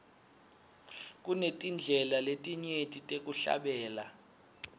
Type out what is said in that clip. kunetindlela letinyenti tekuhlabela